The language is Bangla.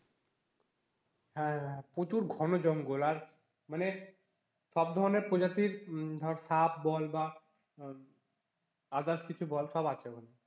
হ্যাঁ হ্যাঁ প্রচুর ঘন জঙ্গল আর মানে সব ধরনের প্রজাতির ধর সাপ বল বা others কিছু বল সব আছে ওখানে।